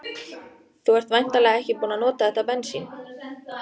Þú ert væntanlega ekki búinn að nota þetta bensín?